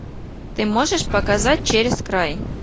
ты можешь показать через край